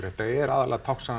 þetta er aðallega